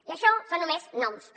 i això són només noms però